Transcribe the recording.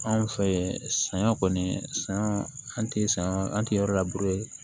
Anw fɛ yen saɲɔ kɔni san an ti sa an ti yɔrɔ la